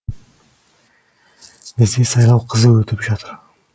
бізде сайлау қызу өтіп жатыр